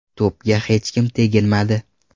To‘pga hech kim teginmadi.